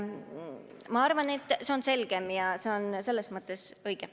Ma arvan, et see on selgem ja see on selles mõttes õige.